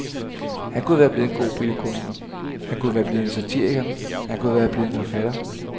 Han kunne være blevet en god billedkunstner, han kunne være blevet satiriker, han kunne være blevet forfatter.